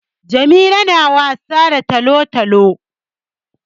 Jamila na wasa da talo-talo.